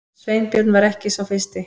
Sveinbjörn var ekki sá fyrsti.